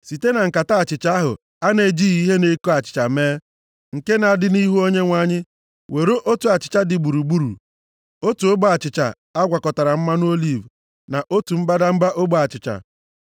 site na nkata achịcha ahụ a na-ejighị ihe na-eko achịcha mee, nke na-adị nʼihu Onyenwe anyị. Were otu achịcha dị gburugburu, otu ogbe achịcha a gwakọtara mmanụ oliv, na otu mbadamba ogbe achịcha,